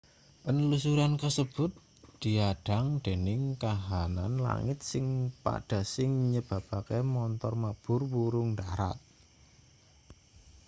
panlusuran kasebut diadhang dening kahanan langit sing padha sing nyebabake montor mabur wurung ndharat